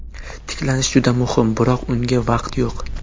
Tiklanish juda muhim, biroq unga vaqt yo‘q.